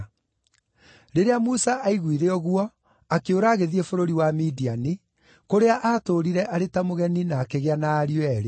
Rĩrĩa Musa aiguire ũguo akĩũra agĩthiĩ bũrũri wa Midiani, kũrĩa aatũũrire arĩ ta mũgeni na akĩgĩa na ariũ eerĩ.